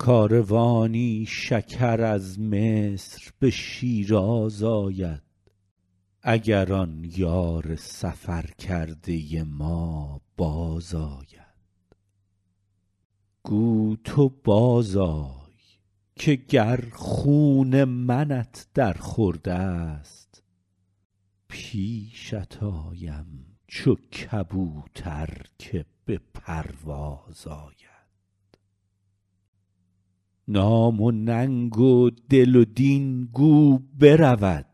کاروانی شکر از مصر به شیراز آید اگر آن یار سفر کرده ما بازآید گو تو بازآی که گر خون منت در خورد است پیشت آیم چو کبوتر که به پرواز آید نام و ننگ و دل و دین گو برود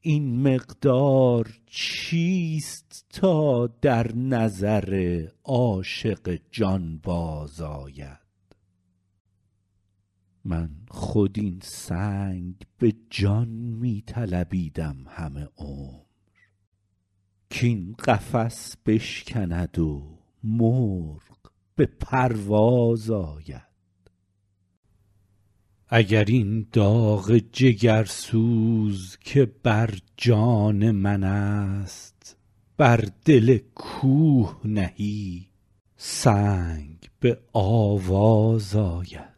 این مقدار چیست تا در نظر عاشق جانباز آید من خود این سنگ به جان می طلبیدم همه عمر کاین قفس بشکند و مرغ به پرواز آید اگر این داغ جگرسوز که بر جان من است بر دل کوه نهی سنگ به آواز آید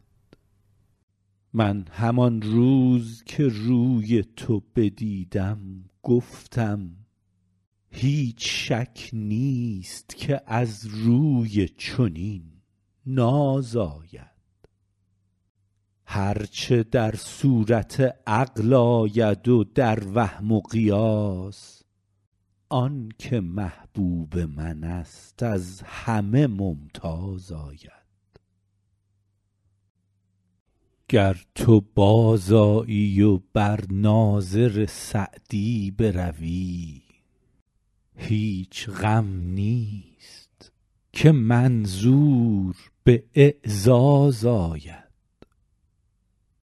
من همان روز که روی تو بدیدم گفتم هیچ شک نیست که از روی چنین ناز آید هر چه در صورت عقل آید و در وهم و قیاس آن که محبوب من است از همه ممتاز آید گر تو بازآیی و بر ناظر سعدی بروی هیچ غم نیست که منظور به اعزاز آید